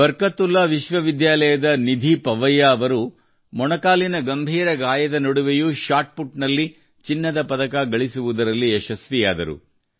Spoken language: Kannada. ಬರ್ಕತುಲ್ಲಾ ವಿಶ್ವವಿದ್ಯಾಲಯದ ನಿಧಿ ಪರ್ವೈಯಾ ಅವರು ಮೊಣಕಾಲಿನ ಗಂಭೀರ ಗಾಯದ ನಡುವೆಯೂ ಶಾಟ್ ಪುಟ್ ನಲ್ಲಿ ಚಿನ್ನದ ಪದಕ ಗಳಿಸುವುದರಲ್ಲಿ ಯಶಸ್ವಿಯಾದರು